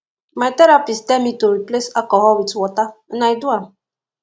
my therapist tell me to replace alcohol with water and i do am